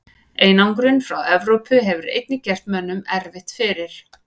Einangrun frá Evrópu hefur einnig gert mönnum erfitt fyrir.